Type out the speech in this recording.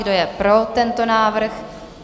Kdo je pro tento návrh?